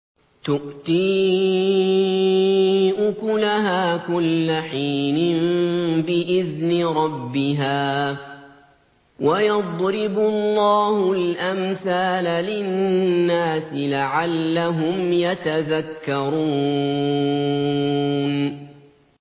تُؤْتِي أُكُلَهَا كُلَّ حِينٍ بِإِذْنِ رَبِّهَا ۗ وَيَضْرِبُ اللَّهُ الْأَمْثَالَ لِلنَّاسِ لَعَلَّهُمْ يَتَذَكَّرُونَ